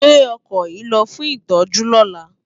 Gbé òkò yi lò fún itòjú lòlá